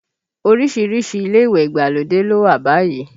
Orísìírísìí ilé ìwẹ̀ ìgbàlódé ló wà báyìí